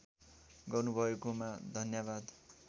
गर्नुभएकोमा धन्यवाद